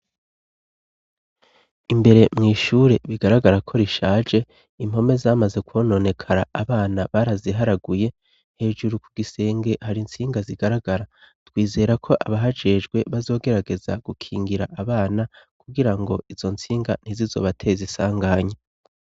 Imbere mw' ishure bigaragara ko rishaje, impome zamaze kwononekara. Abana baraziharaguye, hejuru ku gisenge hari intsinga zigaragara, twizera ko abahajejwe bazogerageza gukingira abana kugirango izo nsinga ntizizobateze isanganya.